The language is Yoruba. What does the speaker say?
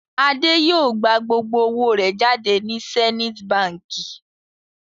Adé yóò gbà gbogbo owó rẹ̀ jáde ní Zenith Báńkì.